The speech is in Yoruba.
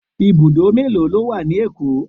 Ibùdó mélòó ló wà ní Èkó?